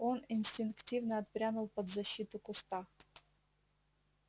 он инстинктивно отпрянул под защиту куста